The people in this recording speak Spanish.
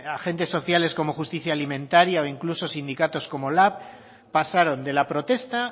agentes sociales como justicia alimentaria o incluso sindicatos como lab pasaron de la protesta